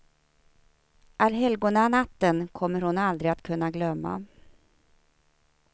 Allhelgonanatten kommer hon aldrig att kunna glömma.